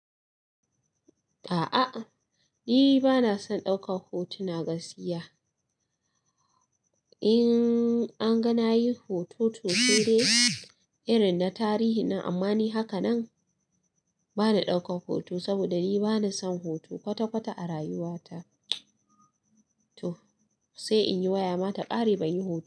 A'ah ni bana son daukan hotuna gaskiya. In an ga na yi hoto to saudai irin na tarihi nan. Amma ni haka nan bana ɗaukar hoto saboda ni bana son hoto kwata-kwata a rayuwa ta. Toh, sai in yi waya mata ƙare banyi hoto.